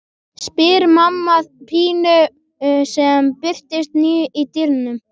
spyr mamma Pínu sem birtist nú í dyrunum.